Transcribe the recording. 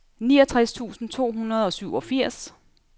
niogtres tusind to hundrede og syvogfirs